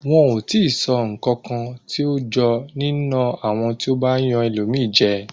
Wọn ò tíì sọ ǹkankan tí ó jọ nína àwọn tí ó bá yan ẹlòmíràn jẹ.